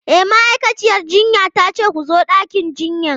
E, ma'aikaciyar jinya ta ce ku zo ɗakin jinyan.